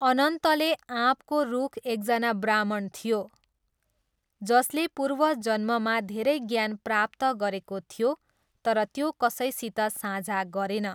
अनन्तले आँपको रुख एकजना ब्राह्मण थियो, जसले पूर्वजन्ममा धेरै ज्ञान प्राप्त गरेको थियो, तर त्यो कसैसित साझा गरेन।